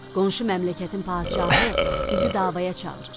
Qonşu məmləkətin padşahı bizi davaya çağırır.